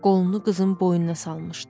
Qolunu qızın boynuna salmışdı.